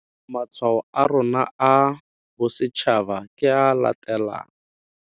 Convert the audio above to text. Matshwao a rona a Bosetšhaba ke a a latelang.